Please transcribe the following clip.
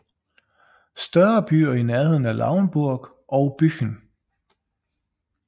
Større byer i nærheden er Lauenburg og Büchen